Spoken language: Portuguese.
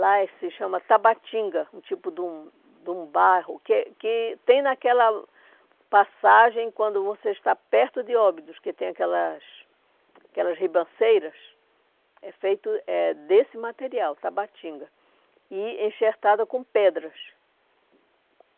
Lá se chama tabatinga, um tipo de um de um barro, que é que tem naquela passagem, quando você está perto de Óbidos, que tem aquelas aquelas ribanceiras, é feito é desse material, tabatinga, e enxertada com pedras.